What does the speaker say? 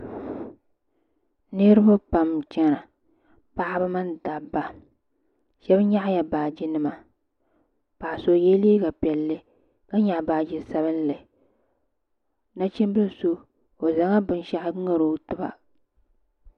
Niriba pam n chena paɣaba mini dabba sheba nyaɣala baaji nima paɣa so o yela liiga piɛlli ka nyaɣi baaji sabinli nachimbila so o zaŋla binshaɣu ŋari o tiba.